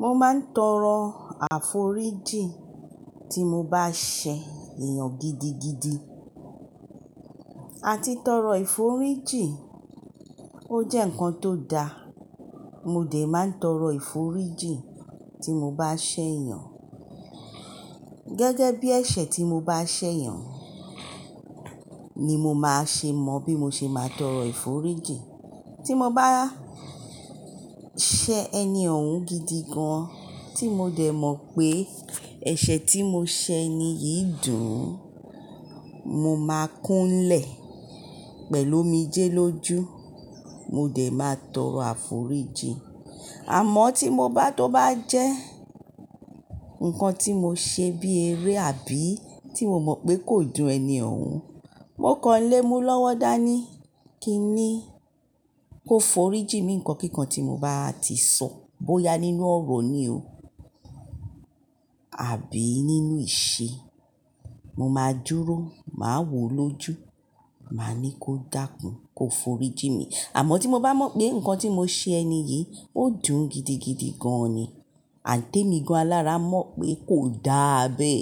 Mo máa ń tọrọ àforíjìn tí mo bá ṣe èèyàn gidigidi àti tọrọ ìforíjìn. Ó jẹ́ nǹkan tó da, mo dè máa ń tọrọ ìforíjìn tí mo bá ṣe èèyàn. Gẹ́gẹ́ bí ẹ̀ṣẹ̀ tí mo bá ṣe èèyàn ni mo máa ṣe mọ bí mo ṣe máa tọrọ ìforíjìn. Tí mo bá ṣe ẹni òun gidi gan tí mo dè mọ̀ pé ẹ̀ṣẹ̀ tí mo ṣe ẹni yìí dùn, mo máa kúnlẹ̀ pẹ̀lú omijé lójú, mo dè máa tọrọ àforíjìn. Àmọ́ tí mo bá tó bá jẹ́ nǹkan tí mo ṣe bí eré àbí tí mo mọ̀ pé kò dùn ẹni òun, mo kọ́nlé mú lọ́wọ́ dání kí n ní kó foríjì mí nǹkan kíkan tí mo bá ti sọ bóya nínú ọ̀rọ̀ ni o àbí nínú ìṣe. Mo máa dúró, máa wò lójú, màá ní kó dákún, kó foríjì mí. Àmọ́ tí mo bá mọ̀ pé nǹkan tí mo ṣe ẹni yìí ó dùn gidigidi gan ni, àǹtẹ́ mi gan lára mọ̀ pé kò dá abẹ́,